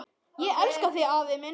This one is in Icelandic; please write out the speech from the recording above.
Ég elska þig afi minn.